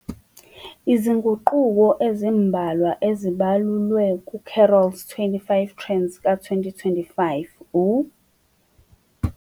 Izinguquko ezimbalwa ezibalulwe ku-Carroll's '25 Trends ka-2025' u--